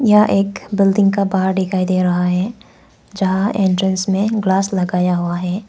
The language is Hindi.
यह एक बिल्डिंग का बाहर दिखाई दे रहा है जहां एंट्रेंस में ग्लास लगाया हुआ है।